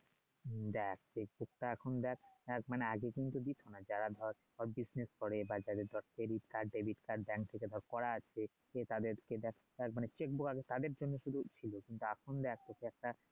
দেখ এখন দেখ মানে আগে কিন্তু কি যারা ধর হল করে বা তদের ধর থেকে ধর করা আছে সে কারণে সেটা বই এর শুধু তাদের জন্য শুধু সুযোগ ছিলো তা এখন দেখ এর কাজটা